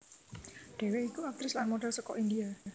Dheweke iku aktris lan model saka India